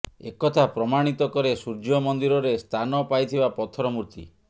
ଏକଥା ପ୍ରମାଣିତ କରେ ସୂର୍ଯ୍ୟମନ୍ଦିରରେ ସ୍ଥାନ ପାଇଥିବା ପଥର ମୁର୍ତି